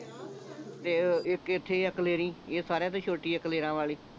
ਤੇ ਇੱਕ ਐਥੇ ਆ ਕਲੇਰੀਂ ਇਹ ਸਾਰਿਆਂ ਤੋਂ ਛੋਟੀ ਆ ਕਲੇਰਾਂ ਵਾਲੀ